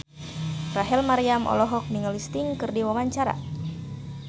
Rachel Maryam olohok ningali Sting keur diwawancara